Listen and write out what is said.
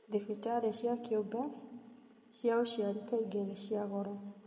Thibitarĩ cĩa kĩũmbe cĩa ucĩari kaingĩ nĩ cĩa goro